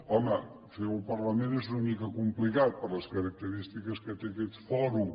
home fer ho al parlament és una mica complicat per les característiques que té aquest fòrum